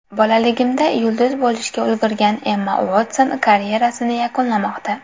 Bolaligidan yulduz bo‘lishga ulgurgan Emma Uotson karyerasini yakunlamoqda.